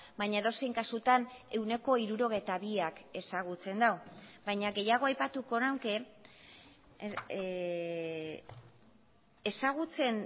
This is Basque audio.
baina edozein kasutan ehuneko hirurogeita biak ezagutzen du baina gehiago aipatuko nuke ezagutzen